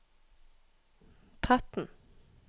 Tretten